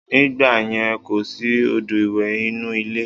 Nígbàyẹn, kò sí odò ìwẹ̀ inú ilé